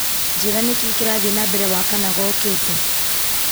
njĩra niĩ kĩrathiĩ na mbere wakana gookĩte